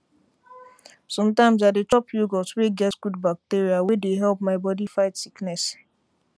sometimes i dey chop yogurt wey get good bacteria wey dey help my body fight sickness